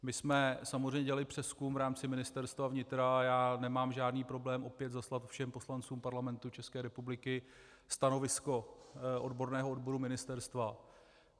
My jsme samozřejmě dělali přezkum v rámci Ministerstva vnitra a já nemám žádný problém opět zaslat všem poslancům Parlamentu České republiky stanovisko odborného odboru ministerstva.